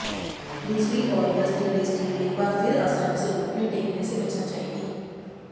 दूसरी ओर West Indies team एक बार फिर आसानी से घुटने टेकने से बचना चाहेगी